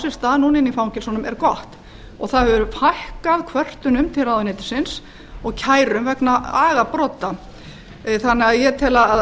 sér stað núna inni í fangelsunum er gott og það hefur fækkað kvörtunum til ráðuneytisins og kærum vegna agabrota þannig að ég tel að